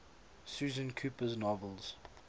susan cooper's novels